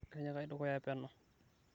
tinyikai dukuya peno